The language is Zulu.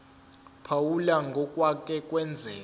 phawula ngokwake kwenzeka